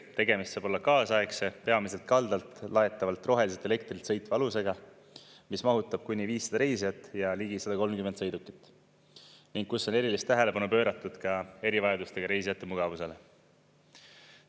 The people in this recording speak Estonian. Tegemist saab olla kaasaegse, peamiselt kaldalt laetavalt roheliselt elektrilt sõitva alusega, mis mahutab kuni 500 reisijat ja ligi 130 sõidukit ning kus on erilist tähelepanu pööratud ka erivajadustega reisijate mugavusele.